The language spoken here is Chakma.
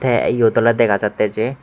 tay eyod olay degajattey jay.